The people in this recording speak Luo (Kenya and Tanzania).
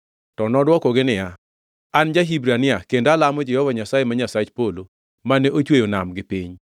To nodwokogi niya, “An ja-Hibrania kendo alamo Jehova Nyasaye, ma Nyasach polo, mane ochweyo nam kod piny.”